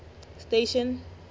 station